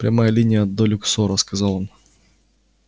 прямая линия до люксора сказал он